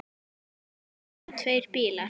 Voru það tveir bílar.